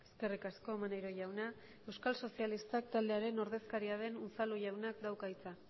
eskerrik asko maneiro jauna euskal sozialistak taldearen ordezkaria den unzalu jaunak dauka hitza